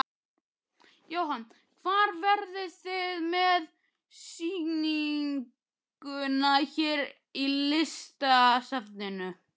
Jóhann: Hvar verðið þið með sýninguna hér í Listasafninu?